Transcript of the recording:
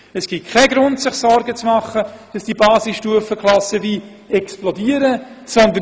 Es gibt keinen Grund, sich Sorgen zu machen, dass die Anzahl Basisstufenklassen explosionsartig zunehmen könnte.